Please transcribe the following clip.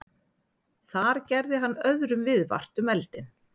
Þar gerði hann öðrum viðvart um eldinn.